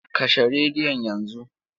Kashe rediyon yanzu!